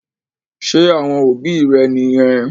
Ṣé àwọn òbí rẹ̀ niyẹn?